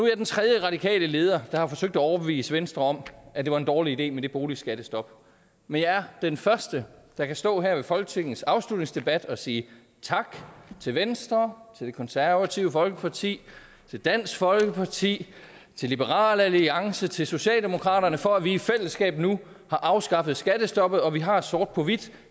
jeg den tredje radikale leder der har forsøgt at overbevise venstre om at det var en dårlig idé med det boligskattestop men jeg er den første der kan stå her ved folketingets afslutningsdebat og sige tak til venstre til det konservative folkeparti til dansk folkeparti til liberal alliance til socialdemokraterne for at vi i fællesskab nu har afskaffet skattestoppet og vi har sort på hvidt